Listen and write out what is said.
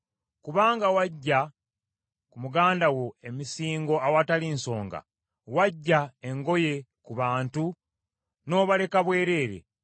Kubanga waggya ku muganda wo emisingo awatali nsonga; waggya engoye ku bantu, n’obaleka bwereere.